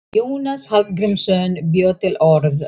Jónas Hallgrímsson bjó til orð.